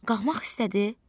Qalxmaq istədi.